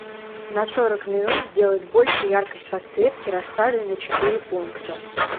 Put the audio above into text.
на сорок минут сделать больше яркость подсветки рассады на четыре пункта